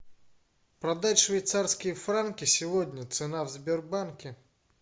продать швейцарские франки сегодня цена в сбербанке